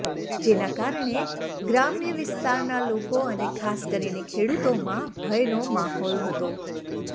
જેના કારણે ગ્રામ્ય વિસ્તારના લોકો અને ખાસ કરીને ખેડૂતોમાં ભયનો માહૌલ હતો